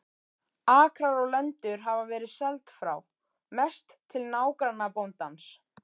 Akrar og lendur hafa verið seld frá, mest til nágrannabóndans.